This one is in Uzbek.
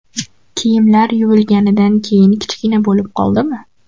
Kiyimlar yuvilganidan keyin kichkina bo‘lib qoldimi?